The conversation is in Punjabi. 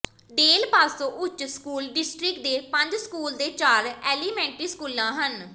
ਡੇਲ ਪਾਸੋ ਉਚ ਸਕੂਲ ਡਿਸਟ੍ਰਿਕਟ ਦੇ ਪੰਜ ਸਕੂਲ ਦੇ ਚਾਰ ਐਲੀਮੈਂਟਰੀ ਸਕੂਲਾਂ ਹਨ